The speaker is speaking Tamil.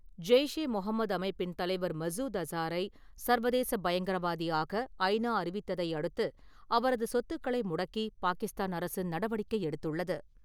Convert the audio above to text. ஜெய்ஷே முகமது அமைப்பின் தலைவர் மசூத் அசாரை சர்வதேச பயங்கரவாதியாக ஐ நா அறிவித்ததை அடுத்து, அவரது சொத்துக்களை முடக்கி பாகிஸ்தான் அரசு நடவடிக்கை எடுத்துள்ளது.